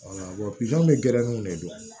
pizɔn bɛ gɛrɛnnuw ne don